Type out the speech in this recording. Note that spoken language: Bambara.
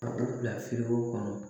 Ka u bila firiko kɔnɔ